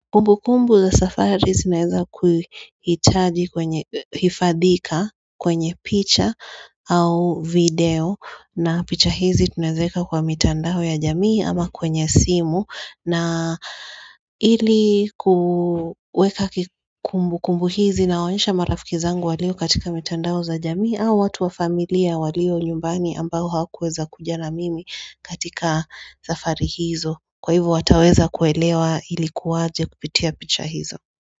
Kumbukumbu za safari zinaweza kuhifadhika kwenye picha au video na picha hizi tunaziweka kwa mitandao ya jamii ama kwenye simu kumbukumbu hizi zinaonyesha marafiki zangu walio katika mitandao za jamii au watu wa familia walio nyumbani ambao hakuweza kuja na mimi katika safari hizo. Kwa hivyo wataweza kuelewa ilikuwa aje kupitia picha hizo.